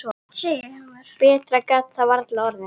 Betra gat það varla orðið.